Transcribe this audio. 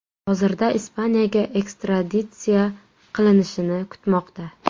Hozirda Ispaniyaga ekstraditsiya qilinishini kutmoqda.